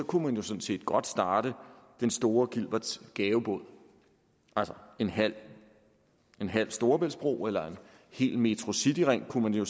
kunne man jo sådan set godt starte den store gilberts gavebod altså en halv en halv storebæltsbro eller en hel metrocityring kunne man jo